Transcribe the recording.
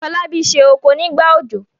Folabi se okò nígbà òjò.